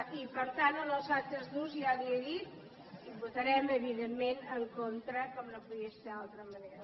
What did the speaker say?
i per tant en els altres dos ja li ho he dit hi votarem evidentment en contra com no podia ser d’una altra manera